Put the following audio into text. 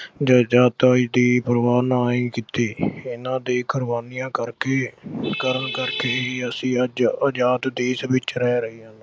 ਜਾਇਦਾਦਾਂ ਦੀ ਪਰਵਾਹ ਨਾ ਕੀਤੀ ਇਹਨਾਂ ਦੀਆਂ ਕੁਰਬਾਨੀਆਂ ਕਰਕੇ ਅਹ ਕਰਨ ਕਰਕੇ ਹੀ ਅਸੀਂ ਅੱਜ ਆਜਾਦ ਦੇਸ਼ ਵਿੱਚ ਰਹਿ ਰਹੇ ਹਾਂ।